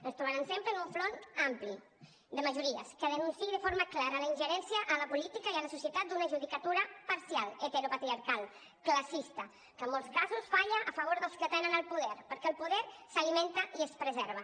ens trobaran sempre en un front ampli de majo·ries que denunciï de forma clara la ingerència a la política i a la societat d’una ju·dicatura parcial heteropatriarcal classista que en molts casos falla a favor dels que tenen el poder perquè el poder s’alimenta i es preserva